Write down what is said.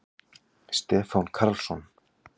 Stefán Karlsson.